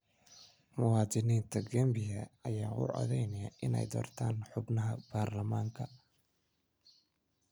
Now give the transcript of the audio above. Muwaadiniinta Gambia ayaa u codeynaya inay doortaan xubnaha baarlamaanka